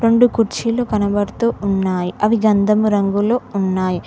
రెండు కుర్చీలు కనబడుతూ ఉన్నాయ్ అవి గంధము రంగులో ఉన్నాయ్.